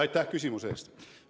Aitäh küsimuse eest!